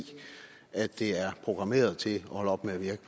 at de er programmeret til at holde op med at virke